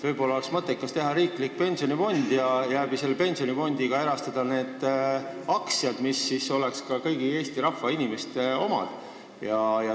Võib-olla oleks mõttekas teha riiklik pensionifond ja selle kaudu erastada ka need aktsiad, mis oleksid kõigi Eesti inimeste omad.